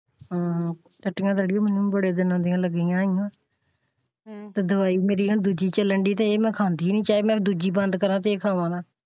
ਹਾਂ ਟੱਟੀਆਂ ਲੱਗਿਆ ਹੋਇਆ ਹੈ ਬੜੇ ਦਿਨਾਂ ਦੀ ਤੇ ਦਵਾਈ ਮੇਰੀ ਹੁਣ ਦੂਜੀ ਚੱਲੀ ਡਇ ਚਾਹੇ ਮੈਂ ਦੂਜੀ ਬੰਦ ਕਰਾ ਤੇ ਇਹ ਖਾਵਾਂ ਨਾ।